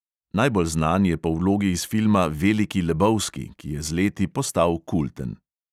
Najbolj znan je po vlogi iz filma veliki lebowski, ki je z leti postal kulten.